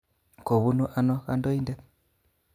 kobunu ano kodoin'det?